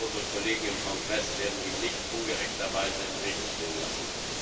Ich hoffe, unsere Kollegen im Kongress werden ihn nicht ungerechterweise im Regen stehen lassen.